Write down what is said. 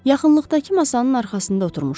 Yaxınlıqdakı masanın arxasında oturmuşdular.